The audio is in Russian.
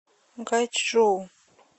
гайчжоу